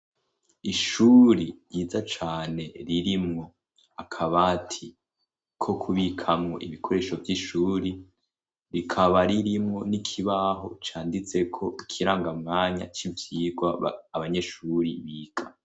Ishuri ryiza cane ririmwo akabati ko kubikamwo ibikoresho vy'ishuri rikaba ririmwo n'ikibaho canditseko ikirangamwanya c'ivyirwa abanyeshuri bika.